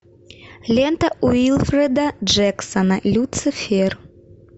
лента уилфреда джексона люцифер